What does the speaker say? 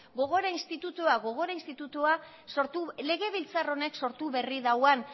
gogora institutua legebiltzar honek sortu berri duen